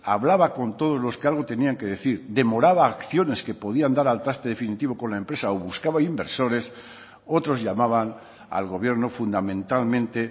hablaba con todos los que algo tenían que decir demoraba acciones que podían dar al traste definitivo con la empresa o buscaba inversores otros llamaban al gobierno fundamentalmente